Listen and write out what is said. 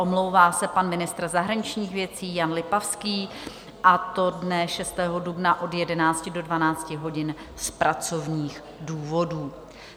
Omlouvá se pan ministr zahraničních věcí Jan Lipavský, a to dne 6. dubna od 11 do 12 hodin z pracovních důvodů.